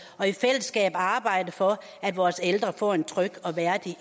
og i fællesskab arbejde for at vores ældre får en tryg og værdig